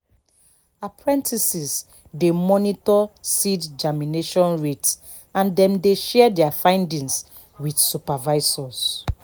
apprentices dey monitor seed germination rate and dem dey share their findings with supervisors